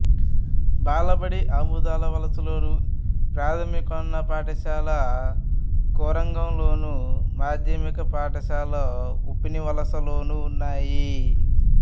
బాలబడి ఆమదాలవలసలోను ప్రాథమికోన్నత పాఠశాల కొరగాంలోను మాధ్యమిక పాఠశాల ఉప్పినివలసలోనూ ఉన్నాయి